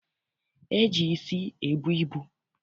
E ji isi ebu ibu.